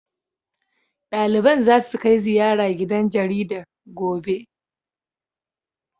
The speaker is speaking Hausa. Ɗaliban zasu kai ziyara gidan jaridar, gobe. be